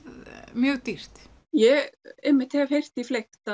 mjög dýrt ég hef einmitt heyrt því fleygt